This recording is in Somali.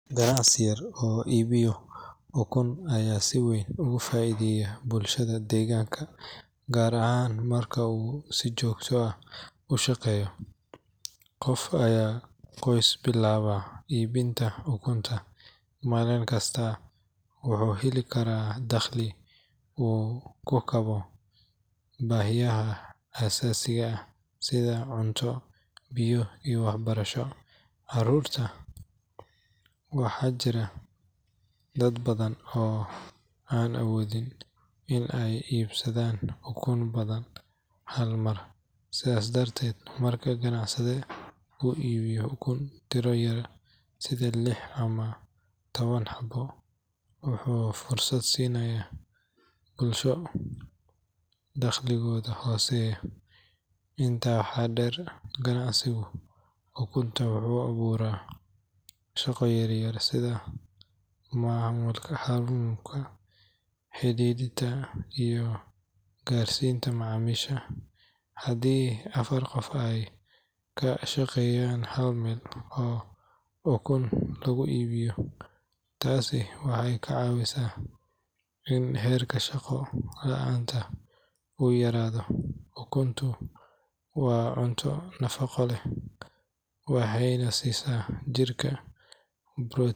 Ganacsi yar oo iibiyo ukun ayaa si weyn ugu faa’iideeya bulshada deegaanka, gaar ahaan marka uu si joogto ah u shaqeeyo. Qof ama qoys bilaaba iibinta ukun maalin kasta wuxuu heli karaa dakhli uu ku daboolo baahiyaha aasaasiga ah sida cunto, biyo iyo waxbarashada carruurta. Waxaa jira dad badan oo aan awoodin in ay iibsadaan ukun badan hal mar, sidaas darteed marka ganacsade uu iibiyo ukun tiro yar sida lix ama toban xabbo, wuxuu fursad siinayaa bulsho dakhligoodu hooseeyo. Intaa waxaa dheer, ganacsiga ukunta wuxuu abuuraa shaqo yar yar sida xamuulka, xirxiridda iyo gaarsiinta macaamiisha. Haddii afar qof ay ka shaqeeyaan hal meel oo ukun lagu iibiyo, taasi waxay ka caawisaa in heerka shaqo la’aanta uu yaraado. Ukuntu waa cunto nafaqo leh, waxayna siisaa jirka,